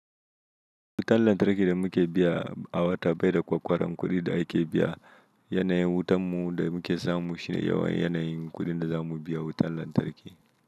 Wutan lantarki da muke biya a wata bai da kwakkwaran kuɗin da ake biya yanayin wutan mu da muke samu shine yawan yanayin kuɗin da za mu biya wutan lantarki.